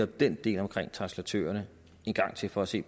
den del om translatørerne en gang til for at se